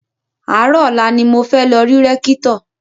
Àárò ọ̀la ni mo fẹ́ lọ rí Rékítò